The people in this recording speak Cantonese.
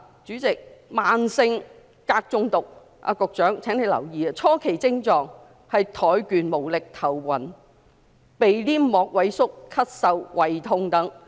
主席，慢性鎘中毒——局長，請你留意——初期症狀是怠倦無力、頭暈、鼻黏膜萎縮、咳嗽及胃痛等。